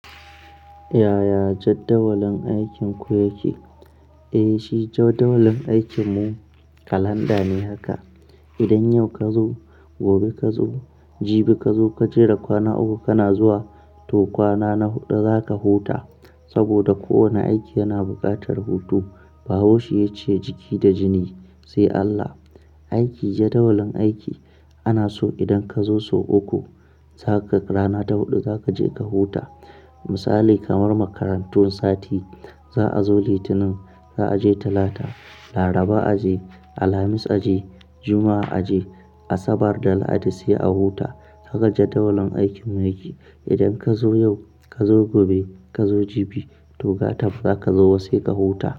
Ya ya jadawalin aikinku yake? Eh, shi jadawalin aikinmu kalanda ne haka. Idan yau ka zo, gobe ka zo, jibi ka zo ka jera kwana uku kana zuwa to kwana na huɗu zaka huta. Saboda kowane aiki yana buƙatar hutu. Bahaushe ya ce, "jiki da jini sai Allah". Aiki jadawalin aiki ana so idan ka zo sau uku, rana ta huɗu zaka je ka huta. Misali kamar makarantu, sati za'a zo Litinin, za'a je Talata, Laraba a je, Alhamis a je, Juma'a a je, Asabar da Lahadi sai a huta. Haka jadawalin aikinmu yake. Idan ka zo yau, ka zo gobe, ka zo jibi to gata ba zaka zo ba sai ka huta.